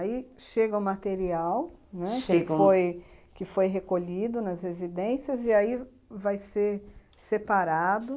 Aí chega o material, né, que foi que foi recolhido nas residências e aí vai ser separado?